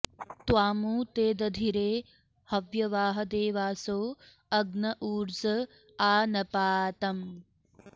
त्वामु॒ ते द॑धिरे हव्य॒वाहं॑ दे॒वासो॑ अग्न ऊ॒र्ज आ नपा॑तम्